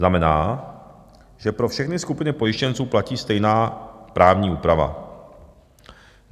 Znamená, že pro všechny skupiny pojištěnců platí stejná právní úprava.